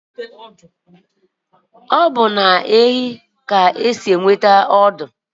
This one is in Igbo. Obu na ehi ka esi enweta ọdụ